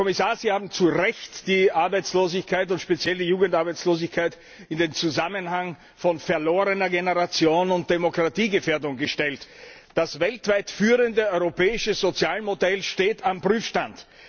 Herr Kommissar, Sie haben zu Recht die Arbeitslosigkeit und speziell die Jugendarbeitslosigkeit in den Zusammenhang von verlorener Generation und Demokratiegefährdung gestellt. Das weltweit führende europäische Sozialmodell steht auf dem Prüfstand.